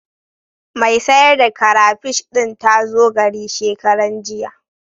Mai sayar da karafish ɗin ta zo gari shekaranjiya.